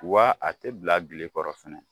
Wa a te bila bilenkɔrɔ fɛnɛ